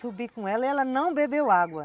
Subi com ela e ela não bebeu água.